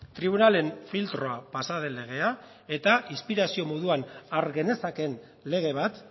tribunalen filtroa pasa den legea eta inspirazio moduan har genezakeen lege bat